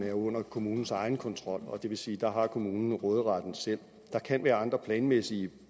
er under kommunernes egen kontrol det vil sige at der har kommunen råderetten selv og der kan være andre planmæssige